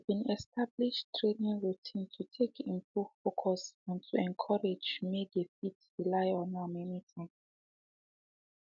she been establish training routine to take improve focus and and to encourage make they fit rely on am anytime